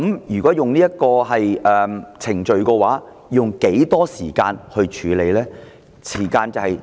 如果使用這個程序的話，要用多少時間處理呢？